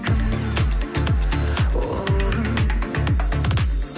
кім ол кім